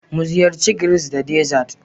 Muziyarci grills da dessert